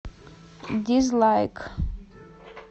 дизлайк